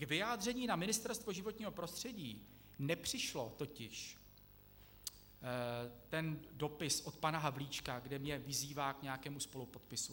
K vyjádření na Ministerstvo životního prostředí nepřišel totiž ten dopis od pana Havlíčka, kde mě vyzývá k nějakému spolupodpisu.